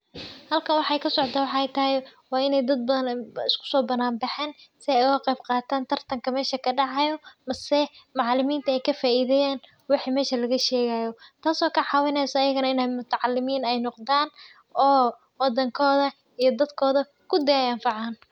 Halkan waxa kasocdo waxey taxay wa in dad badhan ugasobanaan baxen si ey ugaqeb qataan tar tarnka mesha kadacayo mise macaliminta ey kafaidheyan waxa mesha lagashegay taas oo kacawineyso in ey mutacalimiin noqdan oo wadankodha iyo dadkoodha kudi ey anfacaan.